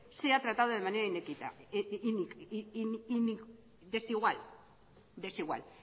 sea tratado de manera desigual